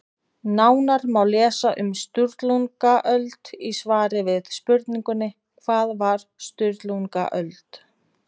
Nánar má lesa um Sturlungaöld í svari við spurningunni Hvað var Sturlungaöld?